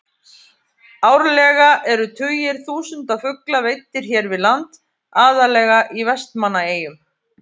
Árlega eru tugir þúsunda fugla veiddir hér við land, aðallega í Vestmannaeyjum.